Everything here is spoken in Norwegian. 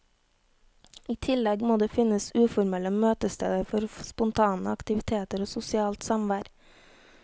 I tillegg må det finnes uformelle møtesteder for spontane aktiviteter og sosialt samvær.